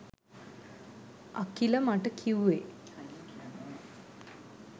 අකිල මට කිව්වේ